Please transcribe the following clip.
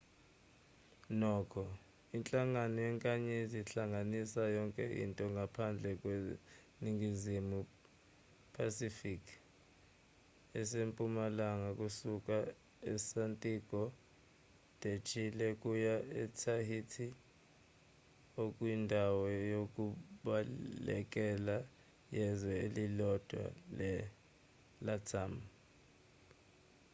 nokho inhlangano yenkanyezi ihlanganisa yonke into ngaphandle kweningizimu phasifiki esempumalanga kusuka esantiago de chile kuya etahiti okuyindawo yokubalekela yezwe elilodwa lelatam